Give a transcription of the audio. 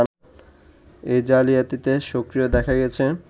এই জালিয়াতিতে সক্রিয় দেখা গেছে